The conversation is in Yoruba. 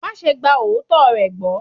Máa ṣe gba òótọ́ rẹ̀ gbọ́.